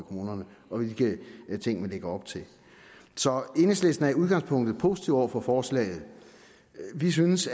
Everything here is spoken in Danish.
kommunerne og hvilke ting man lægger op til så enhedslisten er i udgangspunktet positiv over for forslaget vi synes